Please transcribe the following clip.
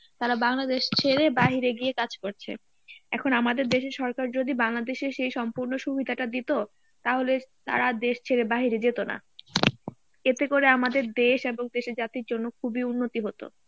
তারা বাংলাদেশ ছেড়ে বাহিরে গিয়ে কাজ করছে. এখন আমাদের দেশের সরকার যদি বাংলাদেশে সেই সম্পূর্ণ সুবিধাটা দিতো তাহলে তারা দেশ ছেড়ে বাহিরে যেত না এতে করে আমাদের দেশ এবং দেশের জাতীর জন্য খুবই উন্নতি হতো